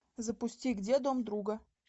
запусти где дом друга